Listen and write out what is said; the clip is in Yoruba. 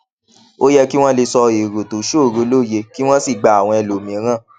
ó yẹ kí wón lè sọ èrò tó ṣòroó lóye kí wón sì gba àwọn ẹlòmíràn